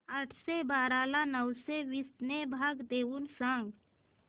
आठशे बारा ला नऊशे वीस ने भाग देऊन सांग